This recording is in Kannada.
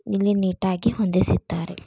ಇಲ್ಲಿ ನೀಟಾ ಗಿ ಹೊಂದಿಸಿದ್ದಾರೆ.